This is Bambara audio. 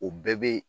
O bɛɛ bɛ